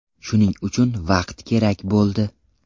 Shuning uchun vaqt kerak bo‘ldi.